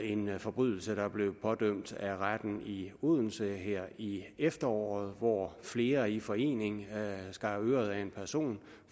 en forbrydelse der er blevet pådømt af retten i odense her i efteråret hvor flere i forening skar øret af en person